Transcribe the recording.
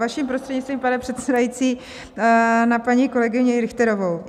Vaším prostřednictvím, pane předsedající, na paní kolegyni Richterovou.